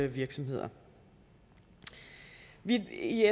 virksomheder vi er i